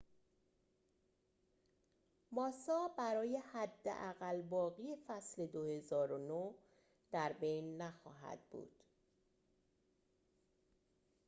ماسا برای حداقل باقی فصل ۲۰۰۹ در بین نخواهد بود